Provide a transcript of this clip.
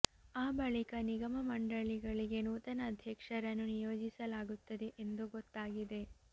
ಆ ಬಳಿಕ ನಿಗಮ ಮಂಡಳಿಗಳಿಗೆ ನೂತನ ಅಧ್ಯಕ್ಷರನ್ನು ನಿಯೋಜಿಸಲಾಗುತ್ತದೆ ಎಂದು ಗೊತ್ತಾಗಿದೆ